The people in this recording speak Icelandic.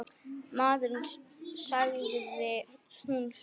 Maður, sagði hún svo.